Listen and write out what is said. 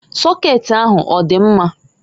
Sokeeti ahụ ọdị mma?